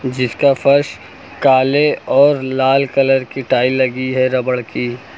जिसका फर्श काले और लाल कलर कि टाइल लगी है रबर कि--